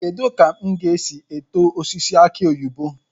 Kedu ka m ga-esi eto osisi aki oyibo?